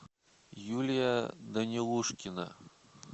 юлия данилушкина